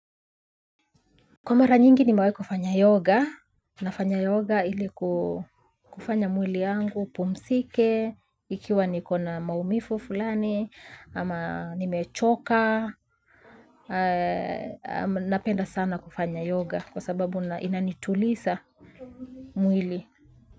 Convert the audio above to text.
Kwa mara nyingi nimewahi kufanya yoga, nafanya yoga ili kufanya mwili yangu, upumzike, ikiwa niko na maumivu fulani, ama nimechoka, napenda sana kufanya yoga kwa sababu inanituliza mwili.